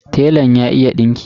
Telan ya iya dinki.